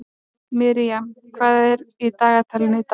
Miriam, hvað er í dagatalinu í dag?